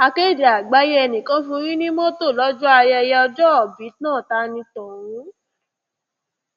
akéde àgbáyé ẹnìkan fún yín ní mọtò lọjọ ayẹyẹ ọjọòbí náà ta ní tọhún